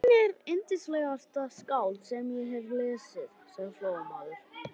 Hann er yndislegasta skáld sem ég hef lesið, sagði Flóamaður.